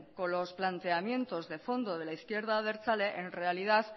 con los planteamientos de fondo de la izquierda abertzale en realidad